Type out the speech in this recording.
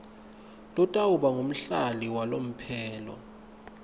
lotawuba ngumhlali walomphelo